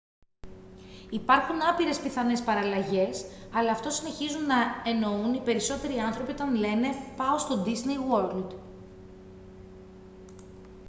υπάρχουν άπειρες πιθανές παραλλαγές αλλά αυτό συνεχίζουν να εννοούν οι περισσότεροι άνθρωποι όταν λένε «πάω στο ντίσνεϊ γουορλντ»